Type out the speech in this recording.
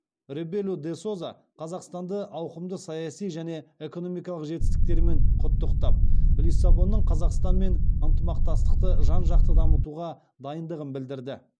ребелу де соза қазақстанды ауқымды саяси және экономикалық жетістіктерімен құттықтап лиссабонның қазақстанмен ынтымақтастықты жан жақты дамытуға дайындығын білдірді